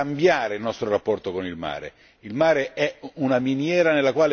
Occorre sostanzialmente cambiare il nostro rapporto con il mare.